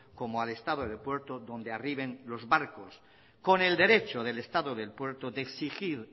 como al estado del puerto donde arriben los barcos con el derecho del estado del puerto de exigir